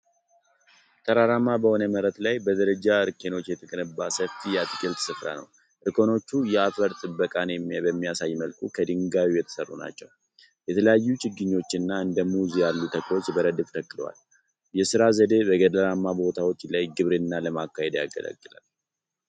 ተራራማ በሆነ መሬት ላይ በደረጃ እርከኖች የተገነባ ሰፊ የአትክልት ስፍራ ነው። እርከኖቹ የአፈር ጥበቃን በሚያሳይ መልኩ ከድንጋይ የተሠሩ ናቸው። የተለያዩ ችግኞችና እንደ ሙዝ ያሉ ተክሎች በረድፍ ተተክለዋል። የሥራ ዘዴ በገደላማ ቦታዎች ላይ ግብርናን ለማካሄድ ያገለግላል።